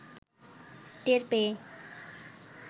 টের পেয়ে